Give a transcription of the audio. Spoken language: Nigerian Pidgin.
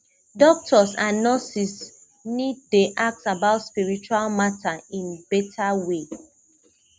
doctors and nurses need dey ask about spiritual matter in better way